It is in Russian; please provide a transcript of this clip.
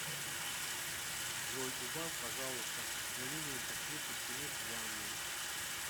джой убавь пожалуйста на минимум подсветку стены в ванной